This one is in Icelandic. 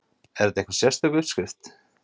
Er þetta einhver sérstök uppskrift?